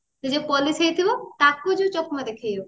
ସେ ଯାଉ police ହେଇଥିବ ତାକୁ ଯାଉ ଚକମା ଦେଖେଇବ